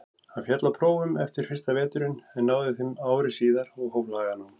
Hann féll á prófum eftir fyrsta veturinn en náði þeim ári síðar og hóf laganám.